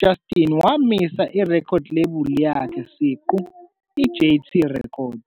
Justin wamisa irekhodi lakhe ilebula siqu, JayTee Records.